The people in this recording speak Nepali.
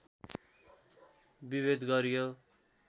विभेद गरियो